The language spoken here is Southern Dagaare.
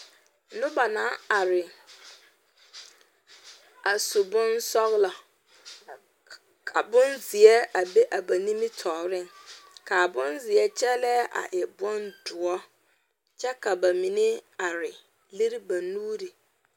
Noba naŋ are a su bonsɔglɔ ka bonzeɛ a be ba nimitɔɔreŋ ka a bonzeɛ kyɛllɛɛ a e bondoɔre kyɛ ka ba mine are lere ba nuuri.